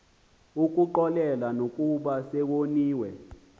ukuxolela nokuba sewoniwe